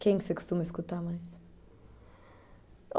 Quem você costuma escutar mais?